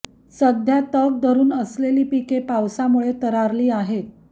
सध्या तग धरून असलेली पिके पावसामुळे तरारली आहेत